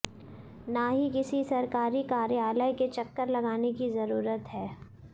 ना ही किसी सरकारी कार्यालय के चक्कर लगाने की जरूरत है